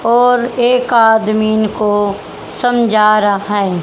और एक आदमिन को समझा रहा है।